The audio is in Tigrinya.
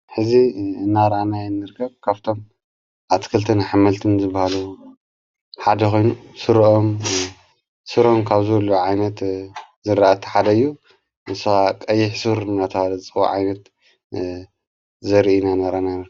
ሕዚ እናራኣናይ እንርከብ ካፍቶም ኣትክልትን ኣሕምልትን ዝበሃሉ ሓደ ኾይኑ ሱሮም ካብዙሉ ዓይነት ዘራእቲ ሓደዩ ንስ ቐይሕሡር ናተበሃለ ዝፅዋዕ ዓይነት ዘርኢና ናራኣና።